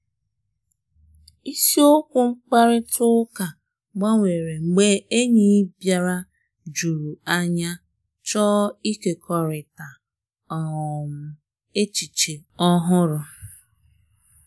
Isiokwu mkparịta ụka gbanwere mgbe enyi bịara juru anya chọọ ịkekọrịta um echiche ọhụrụ.